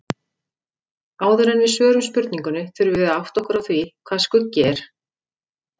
Áður en við svörum spurningunni þurfum við að átta okkur á því hvað skuggi er.